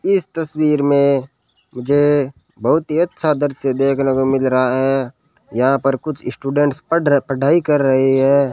इस तस्वीर में मुझे बहुत ही अच्छा दृश्य देखने को मिल रहा है यहां पर कुछ स्टूडेंट्स पढ़ पढ़ाई कर रहे हैं।